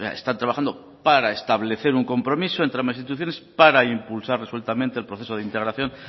están trabajando para establecer un compromiso entre ambas instituciones para impulsar resueltamente el proceso de integración